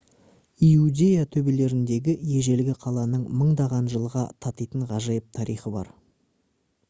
иудея төбелеріндегі ежелгі қаланың мыңдаған жылға татитын ғажайып тарихы бар